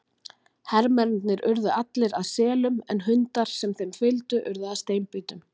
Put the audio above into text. Hermennirnir urðu allir að selum en hundar sem þeim fylgdu urðu að steinbítum.